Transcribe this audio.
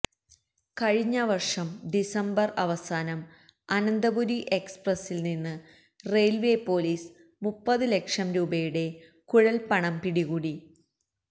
കഴിഞ്ഞ വര്ഷം ഡിസംബര് അവസാനം അനന്തപുരി എക്സ്പ്രസില്നിന്ന് റെയില്വേ പോലീസ് മുപ്പത് ലക്ഷം രൂപയുടെ കുഴല്പ്പണം പിടികൂടി